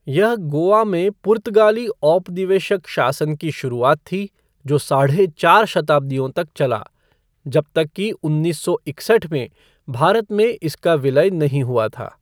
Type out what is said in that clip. यह गोवा में पुर्तगाली औपनिवेशिक शासन की शुरुआत थी, जो साढ़े चार शताब्दियों तक चला, जब तक कि उन्नीस सौ इकसठ में भारत में इसका विलय नहीं हुआ था।